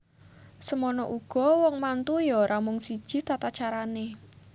Semana uga wong mantu ya ora mung siji tatacarane